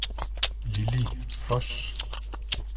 Lilli Voss